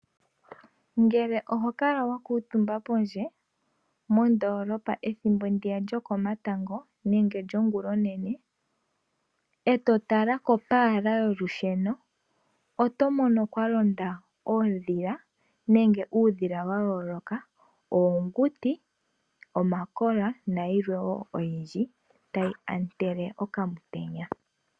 Ngele oho kala wa kuutumba pondje, mondolopa ethimbo ndiya lyo komatango nenge lyo ngula onene, e to tala kopaala yolusheno. Oto mono kwa londa oodhila nenge uudhila wa yooloka oonguti, omakola nayilwe wo oyindji tayi ontele okamutenya.